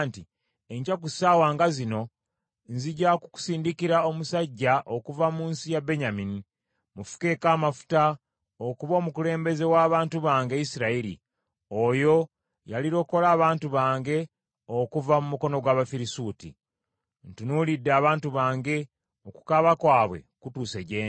“Enkya ku ssaawa nga zino nzija kukusindikira omusajja okuva mu nsi ya Benyamini. Mufukeeko amafuta okuba omukulembeze w’abantu bange, Isirayiri; oyo y’alirokola abantu bange okuva mu mukono gw’Abafirisuuti. Ntunuulidde abantu bange; okukaaba kwabwe kutuuse gye ndi.”